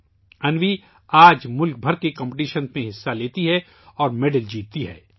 آج انوی ملک بھر کے مقابلوں میں حصہ لیتی ہے اور تمغے جیتتی ہے